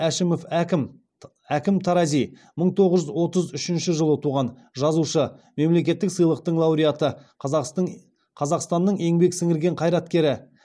әшімов әкім мың тоғыз жүз отыз үшінші жылы туған жазушы мемлекеттік сыйлықтың лауреаты қазақстанның еңбек сіңірген қайраткері